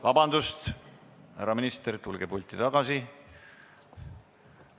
Vabandust, härra minister, tulge pulti tagasi!